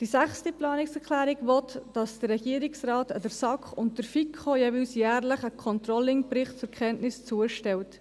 Die sechste Planungserklärung will, dass der Regierungsrat der SAK und der FiKo jeweils jährlich einen Controlling-Bericht zur Kenntnis zustellt.